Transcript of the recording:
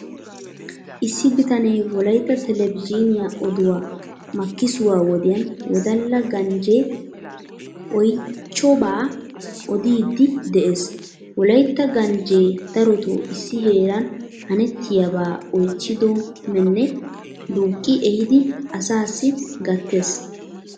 Issi bitane wolaytta televizhiiniyan oduwa makkisuwaa wodiyan wodala ganjjee oychchobaa odiiddi de'ees. Wodala ganjjee darotoo issi heeran hanettiyabba oychchidomne duuqqi ehidi asaassi gattes.